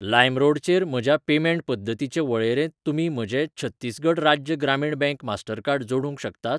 लायमरोडचेर म्हज्या पेमेंट पद्दतींचे वळेरेंत तुमी म्हजें छत्तीसगढ राज्य ग्रामीण बँक मास्टरकार्ड जोडूंक शकतात?